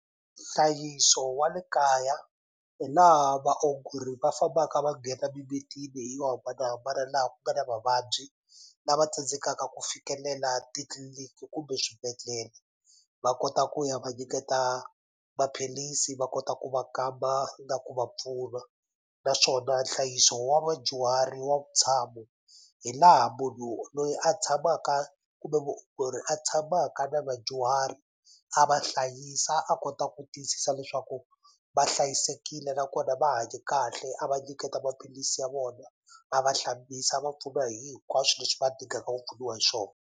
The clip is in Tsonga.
Nhlayiso wa le kaya hi laha vaongori va fambaka va nghena mimitini yo hambanahambana laha ku nga na vavabyi lava tsandzekaka ku fikelela titliliniki kumbe swibedhlele va kota ku ya va nyiketa maphilisi va kota ku va kamba na ku va pfuna naswona nhlayiso wa vadyuhari wa vutshamo hi laha munhu loyi a tshamaka kumbe muongori a tshamaka na vadyuhari a va hlayisa a kota ku tiyisisa leswaku va hlayisekile nakona va hanye kahle a va nyiketa maphilisi ya vona a va hlambisa a va pfuna hi hinkwaswo leswi va ku pfuniwa hi swo.